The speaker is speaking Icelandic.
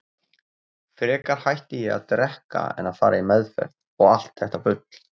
Frekar hætti ég að drekka en að fara í meðferð, og allt þetta bull.